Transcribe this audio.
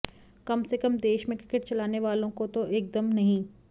कम से कम देश में क्रिकेट चलाने वालों को तो एकदम नहीं